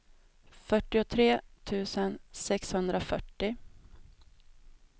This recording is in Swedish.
fyrtiotre tusen sexhundrafyrtio